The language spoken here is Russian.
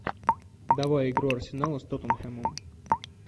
давай игру арсенала с тоттенхэмом